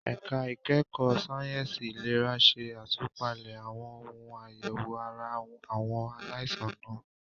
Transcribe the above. Ẹ̀ka ìkẹ́kọ̀ọ́ sáyẹ̀nsì ìlera ṣe àtúpalẹ̀ àwọn ohun àyẹ̀wò ara àwọn aláìsàn náà.